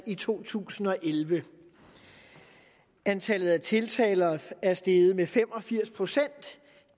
i to tusind og elleve antallet af tiltaler er steget med fem og firs procent